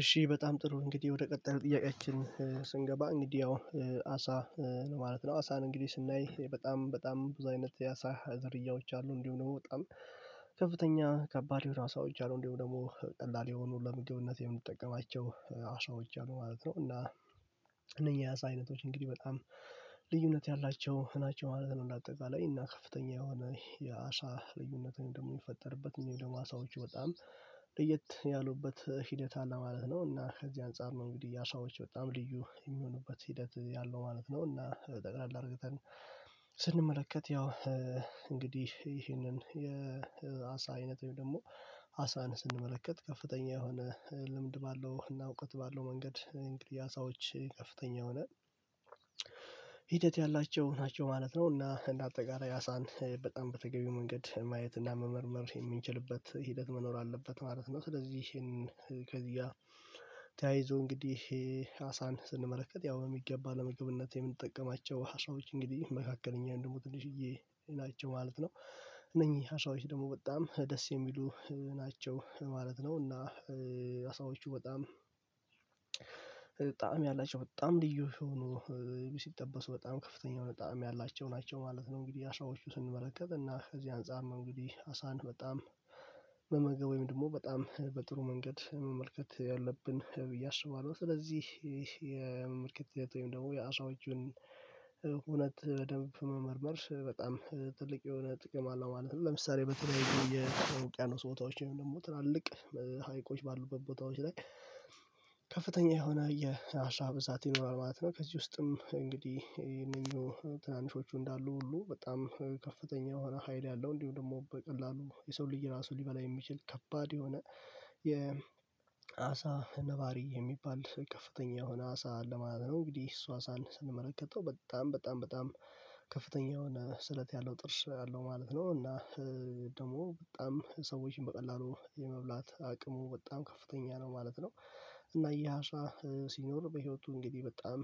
እሺ በጣም ጥሩ እንግዲህ ወደ ቀጣዩ ጥያቄያችን ስንገባ እንግዲህ አሁን አሳ ማለት ነው አሳን እንግዲህ ስናይ በጣም በጣም ብዙ አይነት ያሳ ዝርያዎች አሉ እንዲሁ ደግሞ በጣም ከፍተኛ ከባድ የሆኑ አሳዎች አሉ እንደውም ደግሞ ቀላል የሆኑ ለምግብነት የምንጠቀማቸው አሳዎች አሉ ማለት ነው። እና እነኚህ አሳ አይነቶች እንግዲህ በጣም ልዩነት ያላቸው ናቸው ማለት ነው። እንደ አጠቃላይ እና ከፍተኛ የሆነ የአሳ ልዩነት ወይም ደግሞ የሚፈጠርበት እንዲሁም ደግሞ አሳዎች በጣም ለየት ያሉበት ሂደት አለ ማለት ነው። እና ከዚህ አንፃር ነው እንግዲህ የ አሳዎች በጣም ልዩ የሚሆኑበት ሂደት ያለው ማለት ነው። እና ጠቅላላ አድርገን ስንመለከት ያው እንግዲህ ይሄንን የአሳ አይነት ወይም ደግሞ አሳን ስንመለከት ከፍተኛ የሆነ ልምድ ባለው እና እውቀት ባለው መንገድ እንግዲህ አሳዎች ከፍተኛ የሆነ ሂደት ያላቸው ናቸው ማለት ነው። እና እንደ አጠቃላይ አሳን በጣም በተገቢው መንገድ ማየት እና መመርመር የምንችልበት ሂደት መኖር አለበት ማለት ነው። ስለዚህ ከዚህ ጋ ተያይዞ እንግዲህ አሳን ስንመለከት ያው በሚገባ ለምግብነት የምንጠቀማቸው አሳቦች እንግዲህ መካከለኛ ወይም ደግሞ ትንሽዬ ናቸው ማለት ነው። እነኚህ አሳዎች ደግሞ በጣም ደስ የሚሉ ናቸው ማለት ነው። እና አሳዎቹ በጣም ጣዕም ያላቸው በጣም ልዩ ሆኖ ሲጠበሱ በጣም ከፍተኛ የሆነ ጣዕም ያላቸው ናቸው ማለት ነው። እንግዲህ አሳዎቹ ስንመለከት እና ከዚህ አንፃር እንግዲህ አሳን በጣም መመገብ ወይም ደግሞ በጣም በጥሩ መንገድ መመልከት ያለብን ብዬ እስባለሁ። ስለዚህ የምርክት ሂደት ወይም ደግሞ የአሳዎቹን ሁነት በደንብ መመርመር በጣም ትልቅ የሆነ ጥቅም አለው ማለት ነው። ለምሳሌ በተለያዩ የተውቅያኖስ ቦታዎች ወይም ደግሞ ትላልቅ ሐይቆች ባሉበት ቦታዎች ላይ ከፍተኛ የሆነ የአሳ ብዛት ይኖራል ማለት ነው። ከዚህ ውስጥም እንግዲህ ይሄኛንው ትናንሾቹ እንዳሉ ሁሉ በጣም ከፍተኛ ሆነ ሀይል ያለው እንዲሁ ደግሞ በቀላሉ የሰውን ልጅ ራሱ ሊበላ የሚችል ከባድ የሆነ የአሳ ነባሪ የሚባል ከፍተኛ የሆነ አሳ አለ ማለት ነው። እንግዲህ እሱ አሳን ስንመለከተው በጣም በጣም በጣም ከፍተኛ የሆነ ስለት ያለው ጥርስ አለው ማለት ነው። እና ደግሞ በጣም ሰዎችን በቀላሉ የመብላት አቅሙ በጣም ከፍተኛ ነው ማለት ነው። እና ይህ አሳ ሲኖር በህይወቱ እንግዲህ በጣም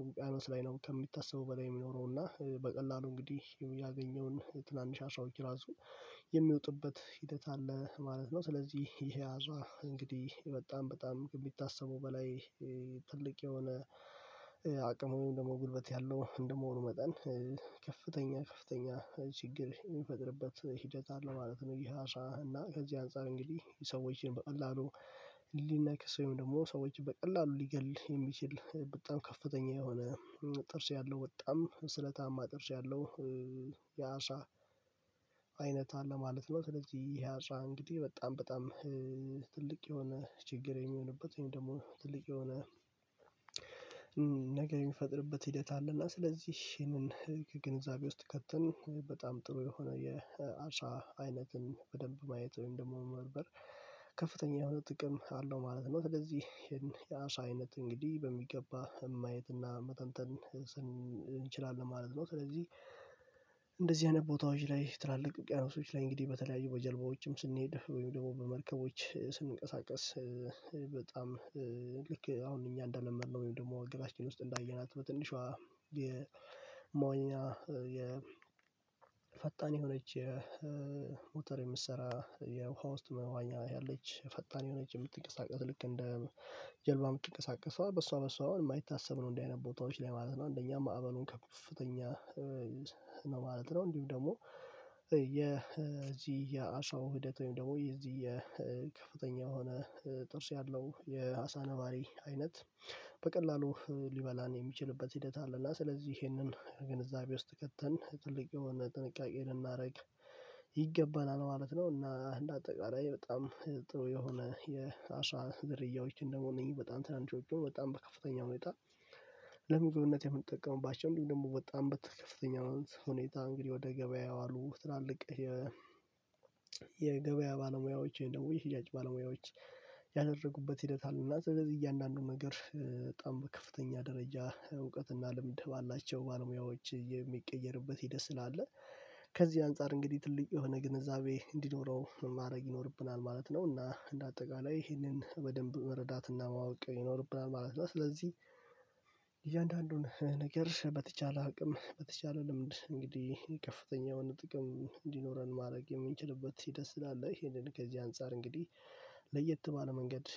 ውቅያኖስ ላይ ነው ከሚታሰበው በላይ የሚኖረው እና በቀላሉ እንግዲህ ያው ያገኘውን ትናንሽ አሳዎች ራሱ የሚወጡበት ሂደት አለ ማለት ነው። ስለዚህ ይሄ አሳ እንግዲህ በጣም በጣም ከሚታሰበው በላይ ትልቅ የሆነ አቅም ደግሞ ጉልበት ያለው እንደመሆኑ መጠን ከፍተኛ ከፍተኛ ችግር የሚፈጥርበት ሂደት አለ ማለት ነው። ይሄ አሳ እና ከዚህ አንፃር እንግዲህ ሰዎችን በቀላሉ ሊነክስ ወይም ደግሞ ሰዎችን በቀላሉ ሊገል የሚችል በጣም ከፍተኛ የሆነ ጥርስ ያለው በጣም ስለታማ ጥርስ ያለው የአሳ አይነት አለ ማለት ነው። ስለዚህ ይሄ አሳ እንግዲህ በጣም በጣም ትልቅ የሆነ ችግር የሚሆንበት ወይም ደግሞ ትልቅ የሆነ ነገር የሚፈጥርበት ሂደት አለ እና ስለዚህ ይሄንን ህግ ግንዛቤ ውስጥ ከተን በጣም ጥሩ የሆነ የአሳ አይነትን በደንብ ማየት ወይም ደግሞ መመርመር ከፍተኛ የሆነ ጥቅም አለው ማለት ነው። ስለዚህ ይሄን የአሳ አይነት እንግዲህ በሚገባ ማየት እና መተንተን ስን እንችላለን ማለት ነው። ስለዚህ እንደዚህ አይነት ቦታዎች ላይ ትላልቅ ውቅያኖሶች ላይ እንግዲህ በተለያዩ በጀልባዎችም ስንሄድ ወይም ደግሞ በመርከቦች ስንቀሳቀስ በጣም ልክ አሁን እኛ እንደለመድነው ወይም ደግሞ ግባችን ውስጥ እንዳየናት በትንሿ የመዋኛ የፈጣን የሆነች የሞተር የምትሠራ የውሃ ውስጥ መዋኛ ያለች ፈጣን የሆነች የምትንቀሳቀስ ልክ እንደ ጀልባ የምትቀሳቀሰው በሷ በሷ አሁን የማይታሰብ ነው እንደዚህ አይነት ቦታዎች ላይ ማለት ነው። አንደኛ ማዕበሉም ከፍተኛ ነው ማለት ነው። እንዲሁም ደግሞ የ የአሳው ሂደት ወይም ደግሞ የዚህ የከፍተኛ የሆነ ጥርስ ያለው የአሳ ነባሪ አይነት በቀላሉ ሊበላን የሚችልበት ሂደት አለ እና ስለዚህ ይሄንን ግንዛቤ ውስጥ ከተን ትልቅ የሆነ ጥንቃቄ ልናደርግ ይገባናል ማለት ነው። እና እንደ አጠቃላይ በጣም ጥሩ የሆነ የአሳ ዝርያዎችን ደግሞ እነዚህ በጣም ትናንሾቹን በጣም በከፍተኛ ሁኔታ ለምግብነት የምንጠቀመባቸው እንዲሁም ደግሞ በጣም በትፍ ከፍተኛ አሁን ሁኔታ እንግዲህ ወደ ገበያ የዋሉ ትላልቅ የገበያ ባለሙያዎች ወይም ደግሞ የሽያጭ ባለሙያዎች ያደረጉበት ሂደት አሉ እና ስለዚህ እያንዳንዱ ነገር በጣም በከፍተኛ ደረጃ እውቀትና ልምድ ባላቸው ባለሙያዎች የሚቀየርበት ሂድት ስላለ ከዚህ አንፃር እንግዲህ ትልቅ የሆነ ግንዛቤ እንዲኖረው ማድረግ ይኖርብናል ማለት ነው። እና እንደ አጠቃላይ ይሄንን በደንብ መረዳት እና ማወቅ ይኖርብናል ማለት ነው። ስለዚህ እያንዳንድ ነገር በተቻለ አቅም በተቻለ ልምድ እንግዲህ የከፍተኛውን ጥቅም እንዲኖረን ማድረግ የምንችልበት ሂደት ስላለ ይሄንን ከዚህ አንፃር እንግዲህ ለየት ባለ መንገድ